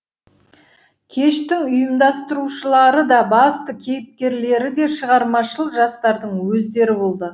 кештің ұйымдастырушылары да басты кейіпкерлері де шығармашыл жастардың өздері болды